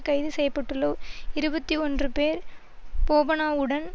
கைது செய்ய பட்டுள்ள இருபத்தி ஒன்று பேர் போபனாவுடன்